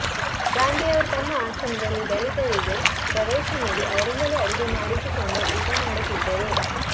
ಗಾಂಧಿಯವರು ತಮ್ಮ ಆಶ್ರಮದಲ್ಲಿ ದಲಿತರಿಗೆ ಪ್ರವೇಶ ನೀಡಿ ಅವರಿಂದಲೇ ಅಡುಗೆ ಮಾಡಿಸಿಕೊಂಡು ಊಟ ಮಾಡುತ್ತಿದ್ದರು